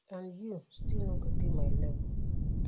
and you still no go dey my level.